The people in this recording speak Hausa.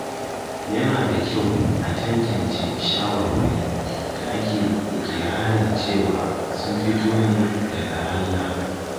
Yana da kyau a tantance shawarwari da ake iƙirarin cewa sun fito ne daga Allah.